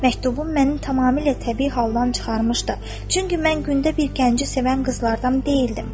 Məktubun məni tamamilə təbii haldan çıxarmışdı, çünki mən gündə bir gəncə sevən qızlardan deyildim.